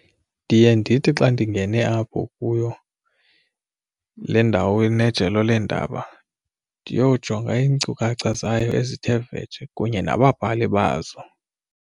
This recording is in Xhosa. Ndiye ndithi xa ndingene apho kuyo le ndawo inejelo leendaba ndiyojonga iinkcukacha zayo ezithe vetshe kunye nababhali bazo.